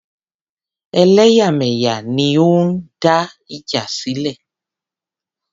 Ẹlẹ́yàmẹ̀yà ni ó ń dá ìjà sílẹ̀.